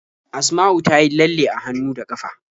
Asma'u ta yi lalle a hannu da ƙafa.